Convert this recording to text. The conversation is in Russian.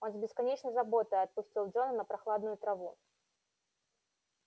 он с бесконечной заботой опустил джона на прохладную траву